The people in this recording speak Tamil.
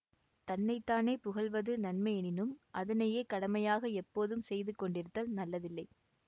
தன்னை தானே புகழ்வது நன்மையெனினும் அதனையே கடமையாக எப்போதும் செய்து கொண்டிருத்தல் நல்லதில்லை